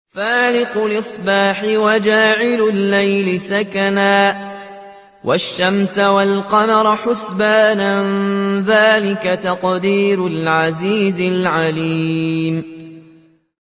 فَالِقُ الْإِصْبَاحِ وَجَعَلَ اللَّيْلَ سَكَنًا وَالشَّمْسَ وَالْقَمَرَ حُسْبَانًا ۚ ذَٰلِكَ تَقْدِيرُ الْعَزِيزِ الْعَلِيمِ